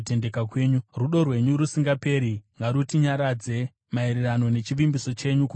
Rudo rwenyu rusingaperi ngarutinyaradze, maererano nechivimbiso chenyu kumuranda wenyu.